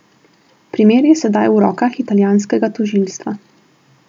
Primer je sedaj v rokah italijanskega tožilstva.